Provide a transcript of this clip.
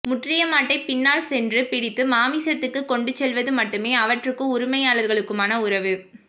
முற்றிய மாட்டைப் பின்னால் சென்று பிடித்து மாமிசத்துக்குக் கொண்டுசெல்வது மட்டுமே அவற்றுக்கும் உரிமையாளர்களுக்குமான உறவு